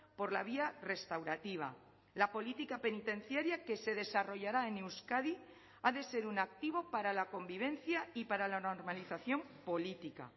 por la vía restaurativa la política penitenciaria que se desarrollará en euskadi ha de ser un activo para la convivencia y para la normalización política